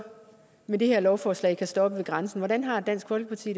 med det her lovforslag kan stoppe ved grænsen hvordan har dansk folkeparti